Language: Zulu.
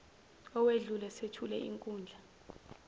owedlule sethule inkundla